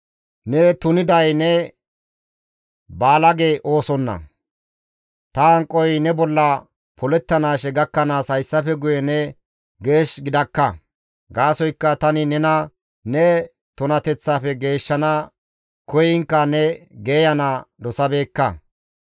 « ‹Ne tuniday ne baalage oosonna; ta hanqoy ne bolla polettanaashe gakkanaas hayssafe guye ne geesh gidakka; gaasoykka tani nena ne tunateththaafe geeshshana koyiinkka ne geeyana dosabeekka.